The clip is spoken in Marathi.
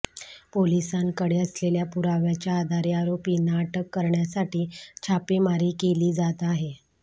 पोलिसांकडे असलेल्या पुराव्याच्या आधारे आरोपींना अटक करण्यासाठी छापेमारी केली जात आहे